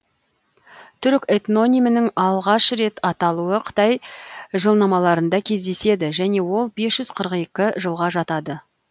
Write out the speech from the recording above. түрік этнонимінің алғаш рет аталуы қытай жылнамаларында кездеседі және ол бес жүз қырық екі жылға жатады